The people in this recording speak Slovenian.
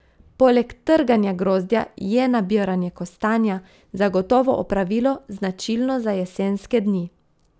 Poleg trganja grozdja je nabiranje kostanja zagotovo opravilo, značilno za jesenske dni.